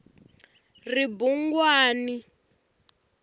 ribungwani